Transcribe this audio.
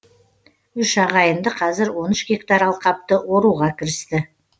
үш ағайынды қазір он үш гектар алқапты оруға кірісті